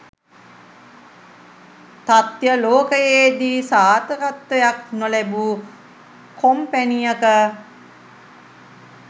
තත්‍ය ලෝකයේදී සාර්ථකත්වයක් නොලැබූ කොම්පැණියක